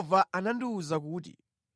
Kenaka Yehova anandiwuza kuti,